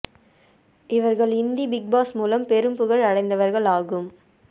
இவர்கள் Hindi Bigg Boss மூலம் பெரும் புகழ் அடைந்தவர்கள் ஆகும்